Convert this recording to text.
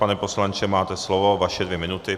Pane poslanče, máte slovo, vaše dvě minuty.